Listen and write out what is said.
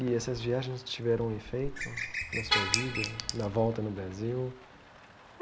E essas viagens tiveram um efeito na sua vida, na volta no Brasil?